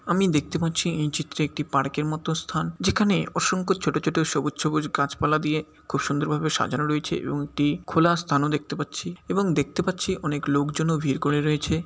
আমি দেখতে পাচ্ছি এই চিত্রে একটি পার্ক -এর মতো স্থান যেখানে অসংখ্য ছোট ছোট সবুজ সবুজ গাছপালা দিয়ে খুব সুন্দরভাবে সাজানো রয়েছে এবং একটি খোলা স্থানও দেখতে পাচ্ছি এবং দেখতে পাচ্ছি অনেক লোকজনও ভিড় করে রয়েছে।